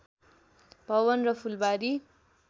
भवन र फुलवारी